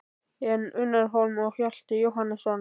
En Unnar Hólm og Hjalti Jóhannesson?